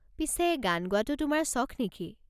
পিছে, গান গোৱাটো তোমাৰ চখ নেকি?